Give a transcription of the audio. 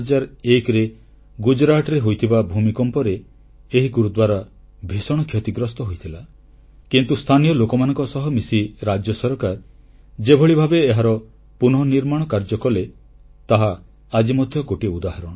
2001ରେ ଗୁଜରାଟରେ ହୋଇଥିବା ଭୂମିକମ୍ପରେ ଏହି ଗୁରୁଦ୍ୱାରା ଭୀଷଣ କ୍ଷତିଗ୍ରସ୍ତ ହୋଇଥିଲା କିନ୍ତୁ ସ୍ଥାନୀୟ ଲୋକମାନଙ୍କ ସହ ମିଶି ରାଜ୍ୟ ସରକାର ଯେଭଳି ଭାବେ ଏହାର ପୁନନିର୍ମାଣ କାର୍ଯ୍ୟ କଲେ ତାହା ଆଜି ମଧ୍ୟ ଗୋଟିଏ ଉଦାହରଣ